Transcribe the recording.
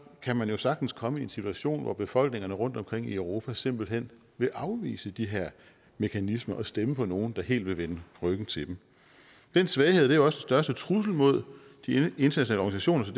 kan man jo sagtens komme i en situation hvor befolkningerne rundtomkring i europa simpelt hen vil afvise de her mekanismer og stemme for nogle der helt vil vende ryggen til dem den svaghed er jo største trussel mod de internationale